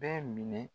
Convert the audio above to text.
Bɛɛ minɛ